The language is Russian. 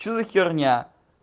что за херня